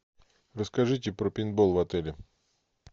расскажите про пейнтбол в отеле